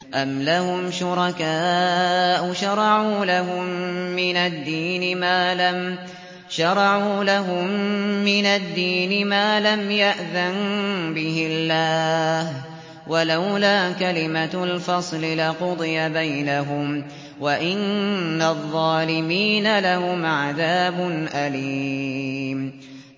أَمْ لَهُمْ شُرَكَاءُ شَرَعُوا لَهُم مِّنَ الدِّينِ مَا لَمْ يَأْذَن بِهِ اللَّهُ ۚ وَلَوْلَا كَلِمَةُ الْفَصْلِ لَقُضِيَ بَيْنَهُمْ ۗ وَإِنَّ الظَّالِمِينَ لَهُمْ عَذَابٌ أَلِيمٌ